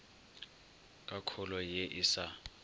ka kholo ye e sa